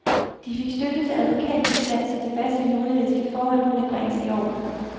De fik støtte til advokatbistand, så diverse juridiske forhold kunne bringes i orden.